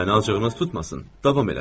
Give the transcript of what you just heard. Məni acığınız tutmasın, davam elədim.